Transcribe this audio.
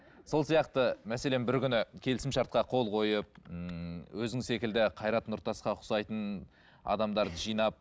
сол сияқты мәселен бір күні келісім шартқа қол қойып ыыы өзің секілді қайрат нұртасқа ұқсайтын адамдарды жинап